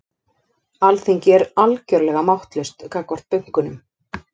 Alþingi er algjörlega máttlaust gagnvart bönkunum